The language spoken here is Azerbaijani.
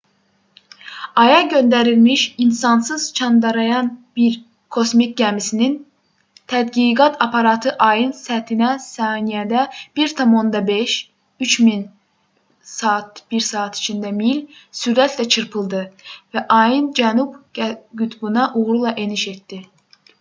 aya göndərilmiş insansız çandrayan-1 kosmik gəmisinin tədqiqat aparatı ayın səthinə saniyədə 1,5 km 3000 mil/saat sürətlə çırpıldı və ayın cənub qütbünə uğurla eniş etdi